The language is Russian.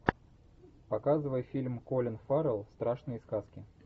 показывай фильм колин фаррелл страшные сказки